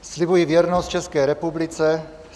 "Slibuji věrnost České republice.